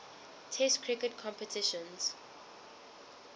test cricket competitions